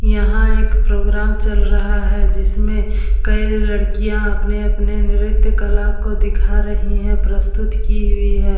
यहाँ एक प्रोग्राम चल रहा है जिसमें कई लड़किया अपने-अपने नृत्यकला को दिखा रहीं है प्रस्तुत की हुईं है।